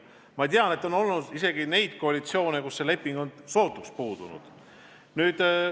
Ma tean, et on olnud koalitsioone, kus niisugune leping on sootuks puudunud.